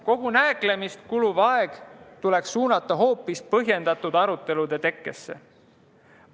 Kogu nääklemisele kuluv aeg tuleks suunata hoopis põhjendatud arutelude tekkesse.